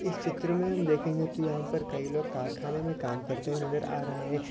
इस चित्र मे हम देखेंगे तो यहा पर कई लोग कारखाने मे काम करते हुए नज़र आ रहे है।